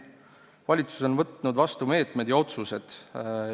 Valitsus on võtnud vastu meetmed ja otsused.